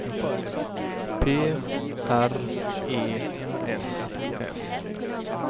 P R E S S